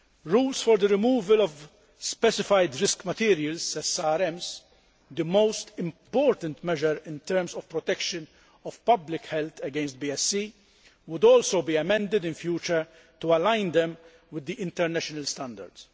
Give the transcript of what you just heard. Rules for the removal of Specified Risk Materials, SRMs, the most important measure in terms of protection of public health against BSE, would also be amended in future to align them with international standards.